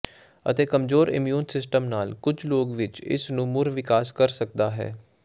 ਅਤੇ ਕਮਜ਼ੋਰ immune system ਨਾਲ ਕੁਝ ਲੋਕ ਵਿਚ ਇਸ ਨੂੰ ਮੁੜ ਵਿਕਾਸ ਕਰ ਸਕਦਾ ਹੈ